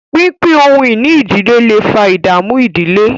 pínpín ohun-ìní ìdílé lẹ fà ìdààmú ìdílé.